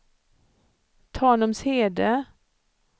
Tanumshede